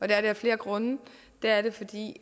det af flere grunde det er det fordi